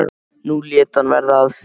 Nú lét hann verða af því.